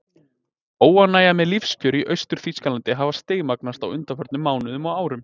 Óánægjan með lífskjörin í Austur-Þýskalandi hafði stigmagnast á undanförnum mánuðum og árum.